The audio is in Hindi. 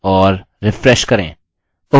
रिप्लेस करें और रिफ्रेश करें